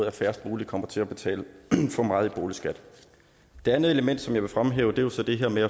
at færrest muligt kommer til at betale for meget i boligskat det andet element jeg vil fremhæve er jo så det her med